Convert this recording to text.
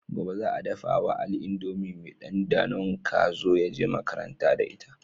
Gobe zasu dafa wa ali indomie me dan danon kazo yaje makaranta da ita